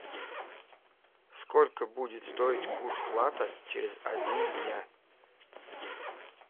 сколько будет стоить курс лата через один дня